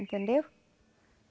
Entendeu?